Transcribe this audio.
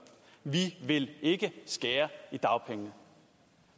vi vil ikke skære i dagpengene